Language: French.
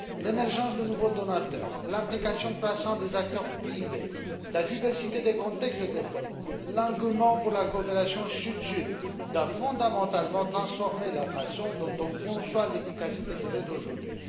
L'émergence de nouveaux donateurs, l'implication croissante des acteurs privés, la diversité des contextes de développement, l'engouement pour la coopération sud sud doivent transformer fondamentalement la façon dont on conçoit l'efficacité de l'aide aujourd'hui.